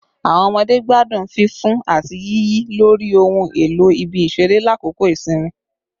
Awọn ọmọde gbadun fifun ati yiyi lori ohun elo ibi-iṣere lakoko isinmi